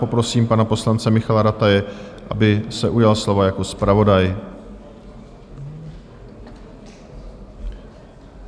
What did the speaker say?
Poprosím pana poslance Michaela Rataje, aby se ujal slova jako zpravodaj.